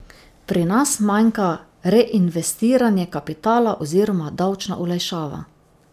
Pri nas manjka reinvestiranje kapitala oziroma davčna olajšava.